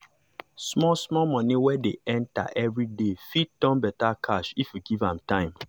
small money wey dey enter every day fit turn better cash if you give am time.